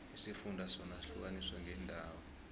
isifunda sona sihlukaniswe ngeendawo